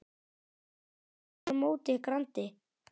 voða sálar móti grandi.